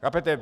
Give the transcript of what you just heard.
Chápete?